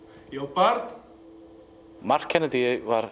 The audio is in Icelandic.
barn mark Kennedy var